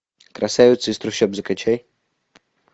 красавица из трущоб закачай